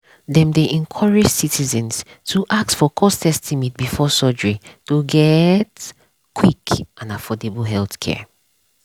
dem dey encourage citizens to ask for cost estimate before surgery to get quick and affordable healthcare.